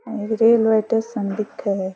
यह railway station दिखे है।